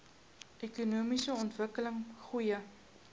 ekonomiese ontwikkeling goeie